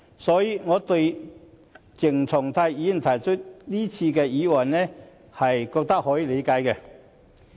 所以，對於鄭松泰議員提出這次的議案，我認為可以理解。